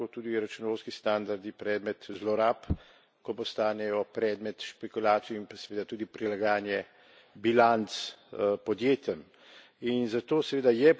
ko seveda postanejo lahko tudi računovodski standardi predmet zlorab, ko postanejo predmet špekulacij in pa seveda tudi prilagajanje bilanc podjetjem.